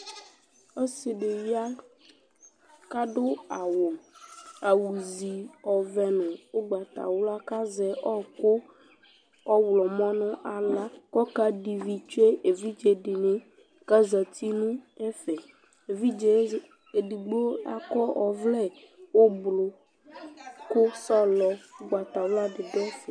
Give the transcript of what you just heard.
Ɔsɩ dɩ ya kʋ adʋ awʋ awʋzi ɔvɛ nʋ ʋgbatawla kʋ azɛ ɔɣɔkʋ ɔɣlɔmɔ nʋ aɣla kʋ ɔkadɛ ivi tsue evidze dɩnɩ kʋ azati nʋ ɛfɛ Evidze yɛ edigbo akɔ ɔvlɛ ʋblʋ kʋ sɔlɔ ʋgbatawla dɩ dʋ ɛfɛ